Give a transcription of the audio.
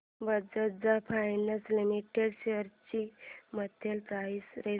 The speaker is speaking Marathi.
बजाज फायनान्स लिमिटेड शेअर्स ची मंथली प्राइस रेंज